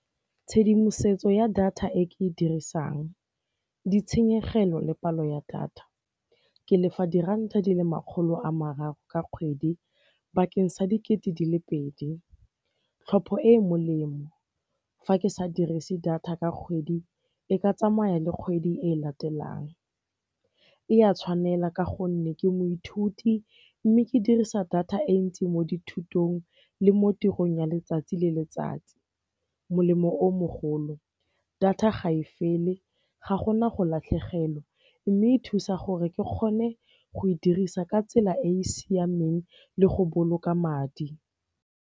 Tshedimosetso ya data e ke e dirisang, ditshenyegelo le palo ya data. Ke lefa diranta di le makgolo a mararo ka kgwedi bakeng sa dikete di le pedi. Tlhopho e e molemo, fa ke sa dirise data ka kgwedi e ka tsamaya le kgwedi e latelang. E a tshwanela ka gonne ke moithuti mme ke dirisa data e ntsi mo dithutong le mo tirong ya letsatsi le letsatsi. Molemo o mogolo, data ga e fele ga gona go latlhegelwa mme e thusa gore ke kgone go e dirisa ka tsela e e siameng le go boloka madi.